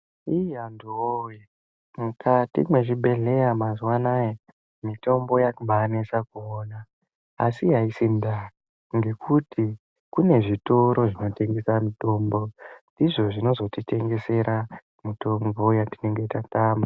Iih antu woye mukati mezvibhedhlera mazuva ano mitombo yakunesa kuona asi aisi ndaa nekuti kune zvitoro zvinotengesa mitombo izvo ndizvo zvinodetsera nguwa yatinenge tatama.